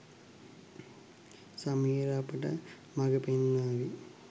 සමීර අපට මගපෙන්වාවි.